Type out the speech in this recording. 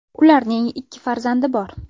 Ularning ikki farzandi bor.